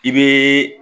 I bɛ